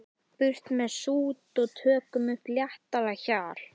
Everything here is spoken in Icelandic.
Burt með sút og tökum upp léttara hjal.